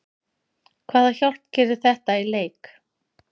Hvaða hjálp gerir þetta í leik?